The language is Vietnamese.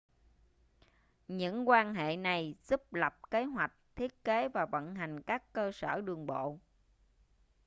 những quan hệ này giúp lập kế hoạch thiết kế và vận hành các cơ sở đường bộ